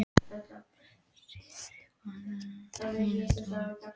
Sirrý, hvað er í dagatalinu mínu í dag?